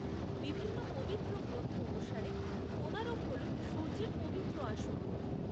বিভিন্ন পবিত্র গ্রন্থ অনুসারে কোণারক হল সূর্যের পবিত্র আসন।